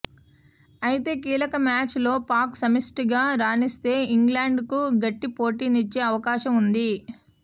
అయితే కీలక మ్యాచ్ లో పాక్ సమిష్టిగా రాణిస్తే ఇంగ్లండ్ కు గట్టి పోటీనిచ్చే అవకాశం ఉంది